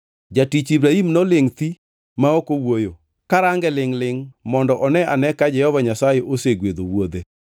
Jatich Ibrahim nolingʼ thi ma ok owuoyo, karange lingʼ-lingʼ mondo one ane ka Jehova Nyasaye osegwedho wuodhe.